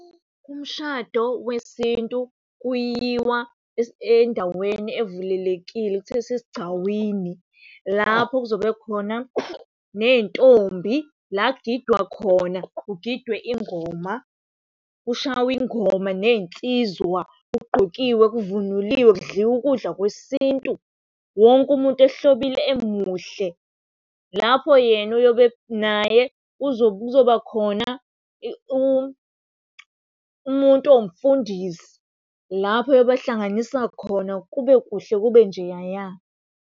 Umshado wesintu kuyiwa endaweni evulelekile okuthiwa isesigcawini lapho okuzobe kukhona ney'ntombi la kugidwa khona, kugidwe ingoma kushawi ingoma ney'nsizwa, kugqokiwe, kuvunuliwe, kudliwu ukudla kwesintu. Wonke umuntu ehlobile emuhle. Lapho yena naye kuzoba khona umuntu owumfundisi lapho eyobahlanganisa khona, kube kuhle kube njeyaya.